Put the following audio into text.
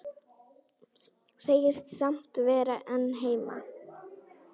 Segist samt vera einn heima.